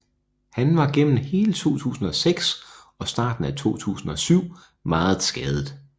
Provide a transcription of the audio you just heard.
Han var gennem hele 2006 og starten af 2007 meget skadet